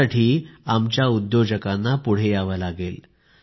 यासाठी आमच्या उद्योजकांना पुढे यावे लागेल